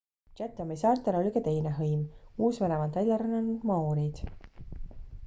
chathami saartel oli ka teine hõim uus-meremaalt välja rännanud maoorid